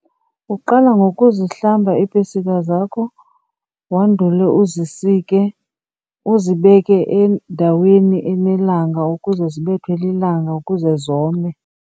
Uqala ngokuzihlamba iipesika zakho wandule uzisike, uzibeke endaweni enelanga ukuze zibethwe lilanga ukuze zome.